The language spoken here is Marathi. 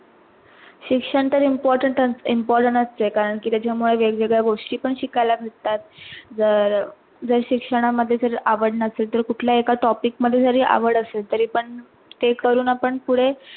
शिक्षण तर important असते कारण त्याच्यामुळे वेग वेगळ्या गोष्टी पण शिकायला भेटतात अह जर जर शिक्षणा मध्ये आवड नसेल तर कुठल्या एका topic मध्ये जरी आवड असेल तरी पण ते करून आपण फुढे अह